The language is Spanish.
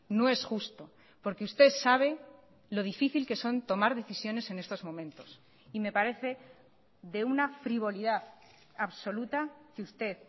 no es justo porque usted sabe lo difícil que son tomar decisiones en estos momentos y me parece de una frivolidad absoluta que usted